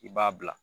I b'a bila